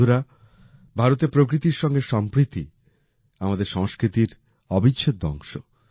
বন্ধুরা ভারতে প্রকৃতির সঙ্গে সম্প্রীতি আমাদের সংস্কৃতির অবিচ্ছেদ্য অংশ